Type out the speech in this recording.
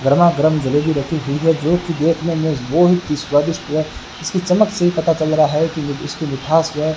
गरमा गरम जलेबी रखी हुई है जोकि देखने में बहुत ही स्वादिष्ट है इसकी चमक से ही पता चल रहा है कि ये इसकी मिठास जो है --